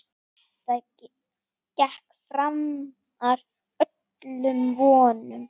Þetta gekk framar öllum vonum.